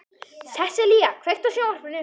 Sessilía, kveiktu á sjónvarpinu.